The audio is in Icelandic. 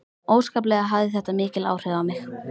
Óskaplega hafði þetta mikil áhrif á mig.